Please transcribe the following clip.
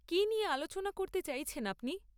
কী নিয়ে আলোচনা করতে চাইছেন আপনি?